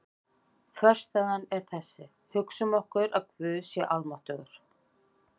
Þverstæðan er þessi: Hugsum okkur að Guð sé almáttugur.